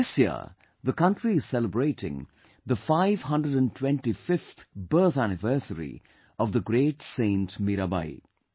This year the country is celebrating the 525th birth anniversary of the great saint Mirabai